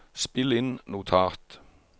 spill inn notat